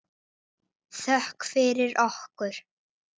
Þú óskar þess of heitt